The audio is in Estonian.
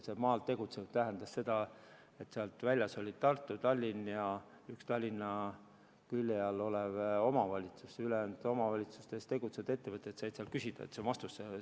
See "maal tegutsevad" tähendas seda, et välja jäid Tartu, Tallinn ja üks Tallinna külje all olev omavalitsus, ülejäänud omavalitsustes tegutsevad ettevõtted saavad sealt toetust küsida.